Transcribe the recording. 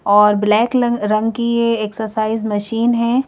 और ब्लैक रंग की ये एक्सरसाइज मशीन है।